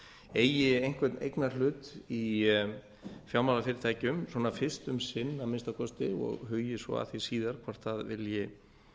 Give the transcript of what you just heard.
eigi einhvern eignarhlut í fjármálafyrirtækjum fyrst um sinn að minnsta kosti og hugi svo að því síðan hvort það vilji